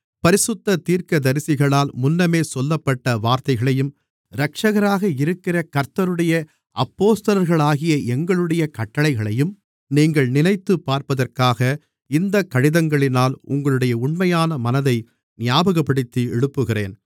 பரிசுத்த தீர்க்கதரிசிகளால் முன்னமே சொல்லப்பட்ட வார்த்தைகளையும் இரட்சகராக இருக்கிற கர்த்தருடைய அப்போஸ்தலர்களாகிய எங்களுடைய கட்டளைகளையும் நீங்கள் நினைத்துப்பார்ப்பதற்காக இந்தக் கடிதங்களினால் உங்களுடைய உண்மையான மனதை ஞாபகப்படுத்தி எழுப்புகிறேன்